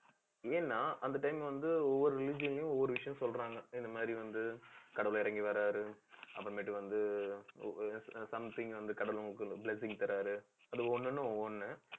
ஏன்னா, அந்த time வந்து, ஒவ்வொரு லயும் ஒவ்வொரு விஷயம் சொல்றாங்க. இந்த மாதிரி வந்து, கடவுள் இறங்கி வர்றாரு வந்து, அப்பறம்மேட்டு வந்து, ஆஹ் something வந்து கடவுள் blessing தர்றாரு அது ஒண்ணுன்னு ஒண்ணு